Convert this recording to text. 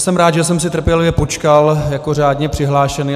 Jsem rád, že jsem si trpělivě počkal jako řádně přihlášený.